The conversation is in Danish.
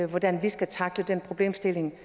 hvordan vi skal tackle den problemstilling